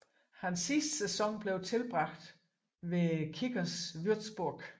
Hans sidste sæson blev tilbragt hos Kickers Würzburg